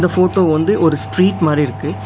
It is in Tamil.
ஃபோட்டோ வந்து ஒரு ஸ்ட்ரீட் மாரி இருக்கு.